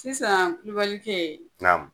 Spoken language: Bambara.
Sisan Kulubalikɛ naamu?